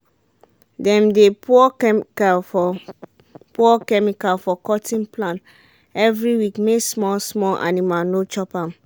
dem dey pour chemical for pour chemical for cotton plant every week make small small animal no chop am.